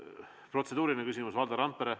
Protseduuriline küsimus, Valdo Randpere.